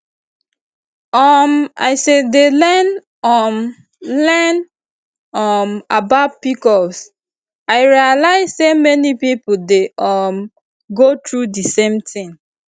um as i dey learn um learn um about pcos i realize say many people dey um go through the same thing